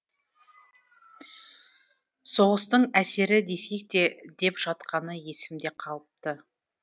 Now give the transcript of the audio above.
соғыстың әсері десек те деп жатқаны есімде қалыпты